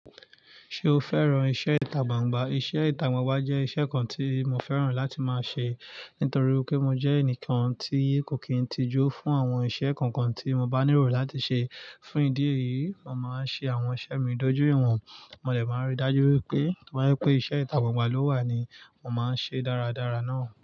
Ṣé o fẹ́ran iṣẹ́ ìtagbangba? Iṣẹ́ ìtagbangba jẹ́ iṣẹ́ kan tí mo fẹ́ran láti máa ṣe, nítorí pé mo jẹ́ ẹnìkan tí kò kín tijú fún àwọn iṣẹ́ kankan tí mo bá nílò láti ṣe. Fún ìdí èyí, mo máa ń ṣe àwọn iṣẹ́ mi dójú iwọn, mo dẹ máa rí dájú wipé, to bá jẹ pé iṣẹ́ ìtagbangba ló wà ni, mo máa ń ṣe dáradára náà.